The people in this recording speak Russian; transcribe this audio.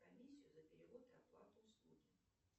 комиссию за перевод и оплату услуги